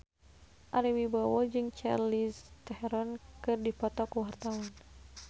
Ari Wibowo jeung Charlize Theron keur dipoto ku wartawan